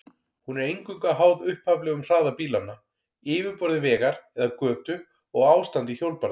Hún er eingöngu háð upphaflegum hraða bílanna, yfirborði vegar eða götu og ástandi hjólbarða.